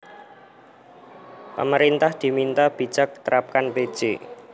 Pemerintah Diminta Bijak Tetapkan Pj